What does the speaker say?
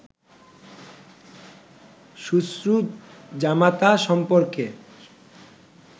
শ্বশ্রু-জামাতা সম্পর্কে